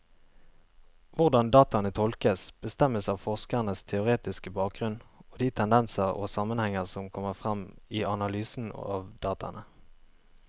Hvordan dataene tolkes, bestemmes av forskerens teoretiske bakgrunnen og de tendenser og sammenhenger som kommer frem i analysen av dataene.